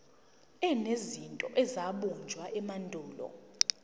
enezinto ezabunjwa emandulo